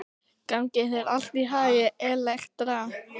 Gangi þér allt í haginn, Elektra.